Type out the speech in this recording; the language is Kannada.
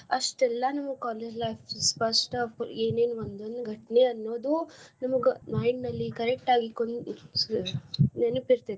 ಅಷ್ಟ್ ಎಲ್ಲಾನೂ college life ಸ್ಪಷ್ಟ ಏನೇನ್ ಒಂದೊಂದ್ ಘಟ್ನೆ ಅನ್ನೋದು ನಮ್ಗ mind ನಲ್ಲಿ correct ಆಗಿ ನೆನಪ ಇರ್ತೆತಿ.